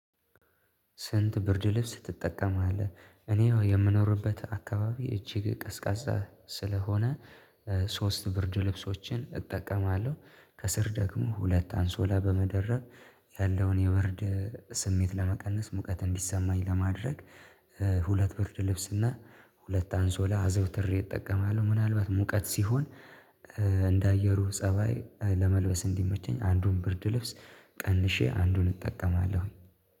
ስንት ብርድልብስ ትጠቀማለህ? እኔ የምኖርበት አካባቢ እጅግ ቀዝቃዛ ስለሆነ ሶስት ብርድ ልብሶችን እጠቀማለሁ። ከስር ደግሞ ሁለት አንሶላ በመደረብ ያለውን የብርድ ስሜት ለመቀነስ ሙቀት እንዲሰማኝ ለማድረግ። ሁለት ብርድልብስ እና ሁለት አንሶላ አዘውትሬ እጠቀማለሁ። ምናልባት ሙቀት ሲሆን እንደ አየሩ ፀባይ ለመልበስ እንዲመቸኝ አንዱን ብርድ ልብስ ቀንሼ አንዱን እጠቀማለሁ።